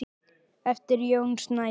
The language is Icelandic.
eftir Jón Snædal.